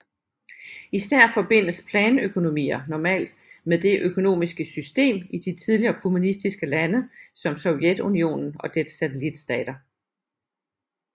Især forbindes planøkonomier normalt med det økonomiske system i de tidligere kommunistiske lande som Sovjetunionen og dets satellitstater